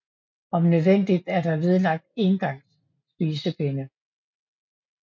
Om nødvendigt er der vedlagt engangs spisepinde